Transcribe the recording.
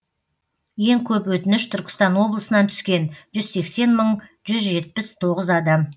ең көп өтініш түркістан облысынан түскен жүз сексен мың жүз жетпіс тоғыз адам